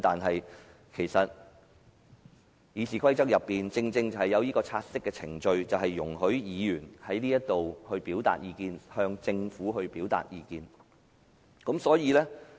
事實上，《議事規則》所訂的察悉程序，便是容許議員在議事堂表達意見，以及向政府表達意見。